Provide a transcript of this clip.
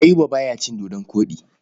Ayuba ba ya cin dodon koɗi.